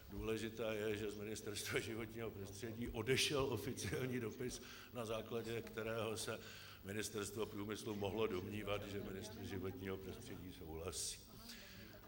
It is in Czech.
Důležité je, že z Ministerstva životního prostředí odešel oficiální dopis, na základě kterého se Ministerstvo průmyslu mohlo domnívat, že ministr životního prostředí souhlasí.